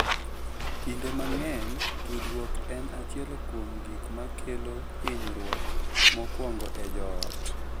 Kinde mang’eny, tudruok en achiel kuom gik ma kelo hinyruok mokwongo e joot